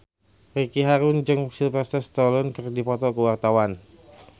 Ricky Harun jeung Sylvester Stallone keur dipoto ku wartawan